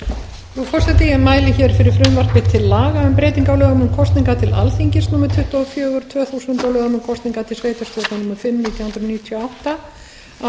laga um breytingu á lögum um kosningar til alþingis númer tuttugu og fjögur tvö þúsund og lögum um kosningar til sveitarstjórna númer fimm nítján hundruð níutíu